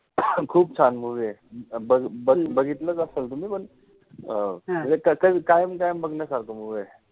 खूप छान movie ए. बघ बघ बघितलच असेल तुम्ही पण अं म्हणजे क कायम कायम बघण्यासारखा movie आहे.